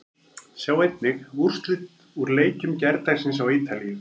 Sjá einnig: Úrslit úr leikjum gærdagsins á Ítalíu